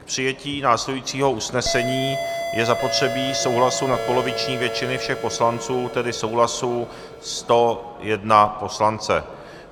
K přijetí následujícího usnesení je zapotřebí souhlasu nadpoloviční většiny všech poslanců, tedy souhlasu 101 poslance.